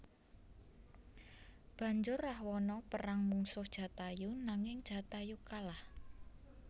Banjur Rahwana perang mungsuh Jatayu nanging Jatayu kalah